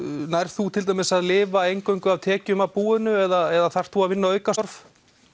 nærð þú til dæmis að lifa eingöngu á tekjum af búinu eða þarftu að vinna aukastörf